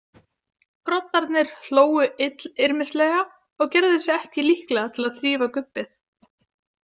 Groddarnir hlógu illyrmislega og gerðu sig ekki líklega til að þrífa gubbið.